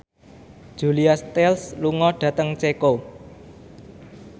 Julia Stiles lunga dhateng Ceko